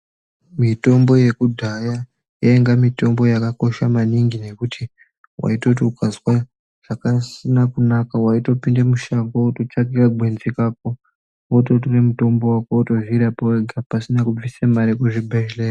Mutombo yekudhaya yainge mitombo yakakosha maningi ngekuti waitoti ukazwa zvisina kunaka waitopinde mushango wototsvake kagwenzi Kako wototore mutombo wototozvirapa wega pasina kubvisa mare kuzvibhedhleya